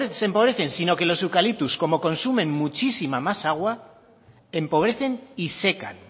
empobrecen sino que los eucaliptos como consumen muchísima más agua empobrecen y secan